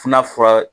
Funna fura